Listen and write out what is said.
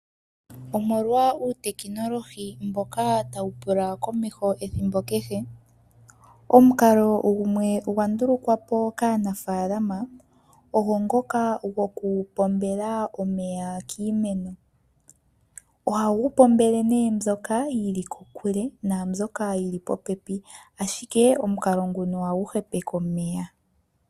Omolwa uutekinolohi mboka tawu pula komeho ethimbo kehe. Omukalo gumwe gwa ndulukwapo kaanafaalama ogo ngoka gokupombela omeya kiimeno. Ohagu pombele nee mbyoka yili kokule naambyoka yili popepi ashike omukali nguka ohagu hepeke omeya.